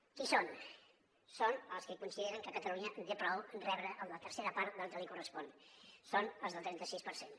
qui són són els que consideren que catalunya en té prou amb rebre la tercera part del que li correspon són els del trenta sis per cent